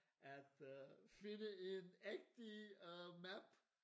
At øh finde en ægte øh map